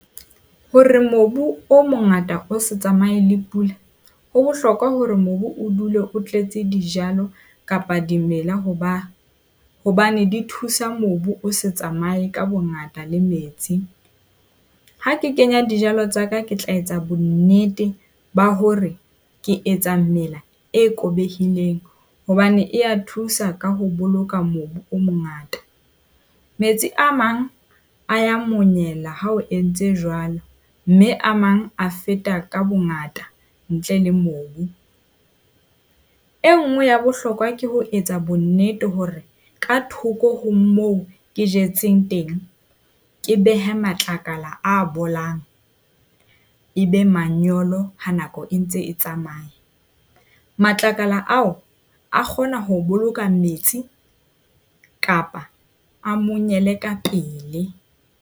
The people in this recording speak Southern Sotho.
Hore mobu o mongata o se tsamaye le pula, ho bohlokwa hore mobu o dule o tletse dijalo kapa dimela hoba hobane di thusa mobu o se tsamaye ka bongata le metsi. Ha ke kenya di tsa ka ke tla etsa bonnete ba hore ke etsang mela e hobane e a thusa ka ho boloka mobu o mongata. Metsi a mang a ya monyela ha o entse jwalo, mme a mang a feta ka bongata ntle le mobu. E nngwe ya bohlokwa ke ho etsa bonnete hore ka thoko ho moo ke jetseng teng. Ke behe matlakala a bolang e be manyolo ha nako e ntse e tsamaya. Matlakala ao, a kgona ho boloka metsi kapa a monyele ka pele.